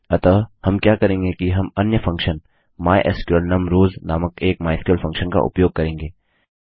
अतः हम क्या करेंगे कि हम अन्य फंक्शन माइस्क्ल नुम रॉस नामक एक माइस्क्ल फंक्शन का उपयोग करेंगे